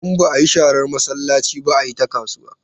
Idan ba a yi sharar masallaci ba, a yi ta kasuwa.